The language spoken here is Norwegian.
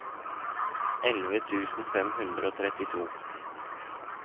elleve tusen fem hundre og trettito